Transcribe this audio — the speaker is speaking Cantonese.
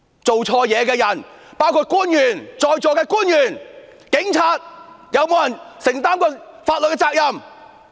做錯事的人包括在座的官員、警察，是否有人承擔過法律責任？